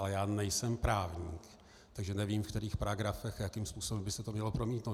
Ale já nejsem právník, takže nevím, v kterých paragrafech a jakým způsobem by se to mělo promítnout.